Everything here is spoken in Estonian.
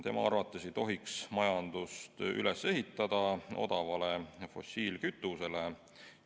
Tema arvates ei tohiks majandust üles ehitada odavale fossiilkütusele.